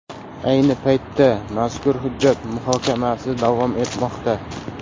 Ayni paytda mazkur hujjat muhokamasi davom etmoqda.